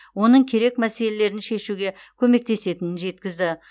оның керек мәселелерін шешуге көмектесетінін жеткізді